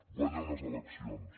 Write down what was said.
guanya unes eleccions